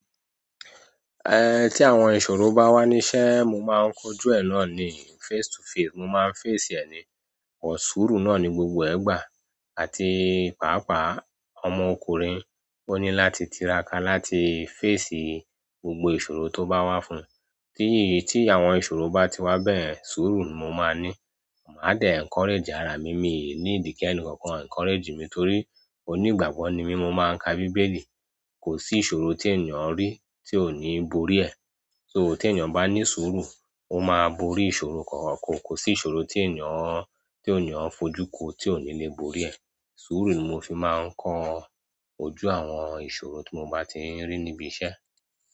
Tí àwọn ìṣòro bá wà ní iṣẹ́, mo máa ń kojú ẹ̀ náà ni face to face. Mo máa ń face ẹ ni, but sùúrù náà ni gbogbo ẹ gbàá àti pàápàá ọmọkùnrin. Ó ní láti tiraka láti face gbogbo ìṣòro tó bá wá fún. Tí àwọn ìṣòro bá ti wá bẹ́yẹ̀n ṣuru ni mo máa ní, màá dẹ̀ encourage ara mi, mi ò need kí ẹnìkankan encourage mi torí onígbàgbọ́ ni mí, mo máa ń ka Bíbélì. Kò sí ìṣòro tí ènìyàn ń rí tí ò ní bòrí ẹ. So tí ènìyàn bá ní suru, ó máa borí ìṣòro kọ̀ọ̀kan, kò sí ìṣòro tí ènìyàn, tí ènìyàn ń fojú kù tí ò ní lè borí ẹ. Suru ni mo fi máa ń kọ ojú àwọn ìṣòro tí mo bá ti ń rí níbi iṣẹ́.